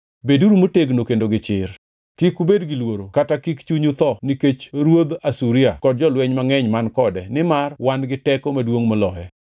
“Beduru motegno kendo gi chir. Kik ubed gi luoro kata kik chunyu tho nikech ruodh Asuria kod jolweny mangʼeny man kode nimar wan gi teko maduongʼ moloye.